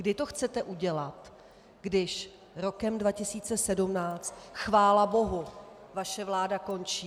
Kdy to chcete udělat, když rokem 2017 chvála bohu vaše vláda končí?